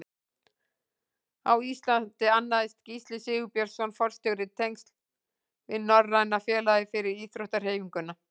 Á Íslandi annaðist Gísli Sigurbjörnsson forstjóri tengsl við Norræna félagið fyrir íþróttahreyfinguna.